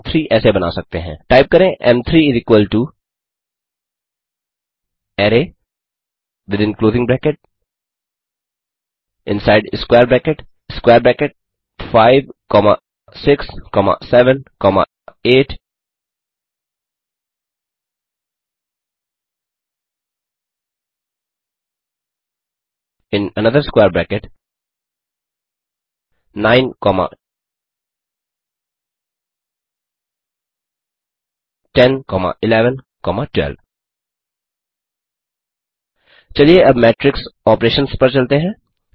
एम3 ऐसे बना सकते हैं टाइप करें एम3 array within closing bracket inside square bracket square bracket 5 comma 6 comma 7 comma 8 comma in another square bracket 9 comma 10 comma 11 comma 12 चलिए अब मेट्रिक्स ऑपरेशंस पर चलते हैं